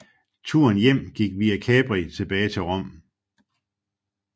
Turen hjem gik via Capri tilbage til Rom